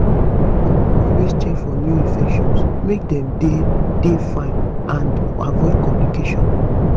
adults dey always check for new infections make dem dey dey fine and avoid complications